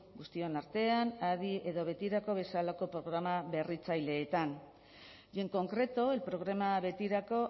guztion artean adi edo betirako bezalako programa berritzaileetan y en concreto el programa betirako